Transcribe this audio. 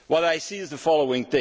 What I see is the following.